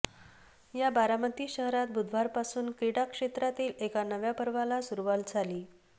या बारामती शहरात बुधवारपासून क्रीडा क्षेत्रातील एका नव्या पर्वाला सुरूवात झाली